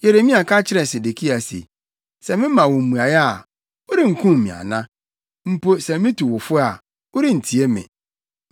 Yeremia ka kyerɛɛ Sedekia se, “Sɛ mema wo mmuae a, worenkum me ana? Mpo sɛ mitu wo fo a, worentie me.”